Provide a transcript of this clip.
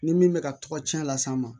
Ni min bɛ ka tɔgɔcɛn las'an ma